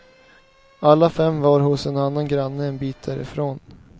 Alla fem var hos en annan granne en bit därifrån.